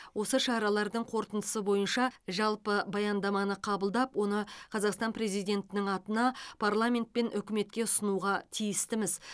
осы шаралардың қорытындысы бойынша жалпы баяндаманы қабылдап оны қазақстан президентінің атына парламент пен үкіметке ұсынуға тиістіміз